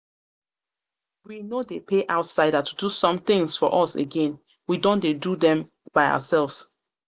We no dey pay outsider to do somethings for us again, we don dey do them by ourselves